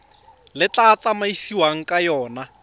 le tla tsamaisiwang ka yona